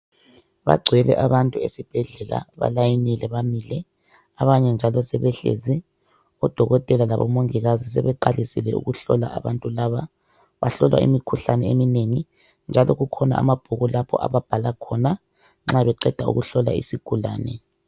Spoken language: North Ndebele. bagcwele aabantu esibhedlela balayinile bamile abanye njalo sebehlezi odokotela labo mongikazi sebeqalisile ukuhlola abantu laba bahlolwa imikhuhlane eminengi njalo kukhona amabhuku lapho ababhala khona nxa beqeda ukuhlola isigulane